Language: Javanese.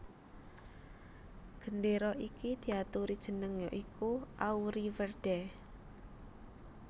Gendéra iki diaturi jeneng ya iku Auriverde